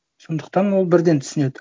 сондықтан ол бірден түсінеді